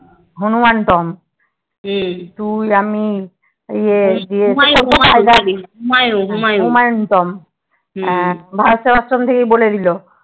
Hanuman tomb হুম তুই আমি ইয়ে হুমায়ন টম্ব ভারত সেবাশ্রম থেকে বলে দিলো